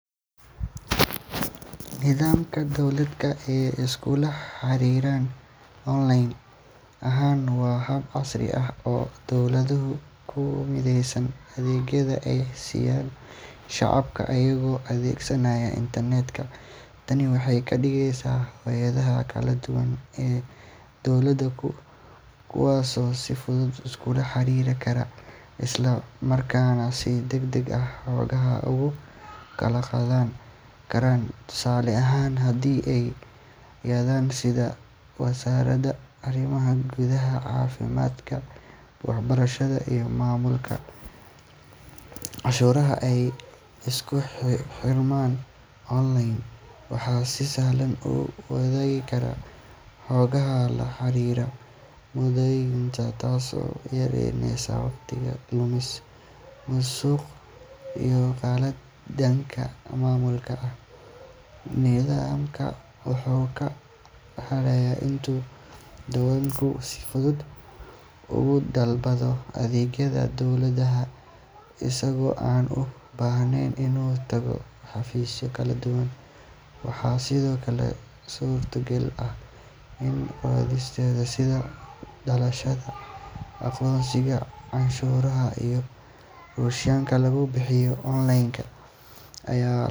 Nidaamka dowladeed ee iskula xariran online ahaan waa hab casri ah oo dowladuhu ku mideeyaan adeegyada ay siiyaan shacabka iyagoo adeegsanaya internet-ka. Tani waxay ka dhigeysaa hay’adaha kala duwan ee dowladda kuwo si fudud iskula xiriiri kara, isla markaana si degdeg ah xogta ugu kala qaadan kara. Tusaale ahaan, haddii hay’adaha sida wasaaradda arrimaha gudaha, caafimaadka, waxbarashada iyo maamulka cashuuraha ay isku xirmaan online, waxay si sahlan u wadaagi karaan xogaha la xiriira muwaadiniinta, taasoo yareyneysa waqti lumis, musuq, iyo khaladaad dhanka maamulka ah. Nidaamkan wuxuu kaloo sahlayaa in muwaadinku si fudud uga dalbado adeegyada dowladda isagoo aan u baahnayn inuu tago xafiisyo kala duwan. Waxaa sidoo kale suurto gal ah in codsiyada sida dhalashada, aqoonsiga, canshuuraha iyo rukhsadaha lagu bixiyo online iyadoo